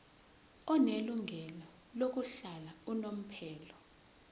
onelungelo lokuhlala unomphela